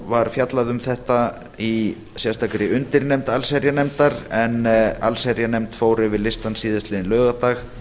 var fjallað um þetta í sérstakri undirnefnd allsherjarnefndar en allsherjarnefnd fór yfir listann síðastliðinn laugardag